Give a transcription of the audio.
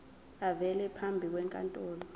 avele phambi kwenkantolo